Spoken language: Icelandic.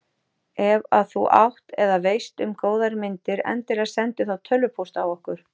Ef að þú átt eða veist um góðar myndir endilega sendu þá tölvupóst á okkur.